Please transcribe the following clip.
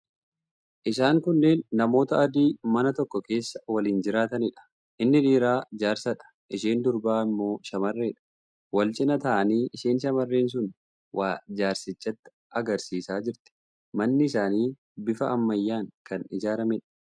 Isaan kunneen namoota adii mana tokko keessa waliin jiraataniidha. Inni dhiiraa jaarsadha. Isheen tokko immoo shamarreedha. Wal cina taa'anii isheen shamarreen sun waa jaarsichatti agarsiisaa jirti. Manni isaanii bifa ammayyaan kan ijaarameedha.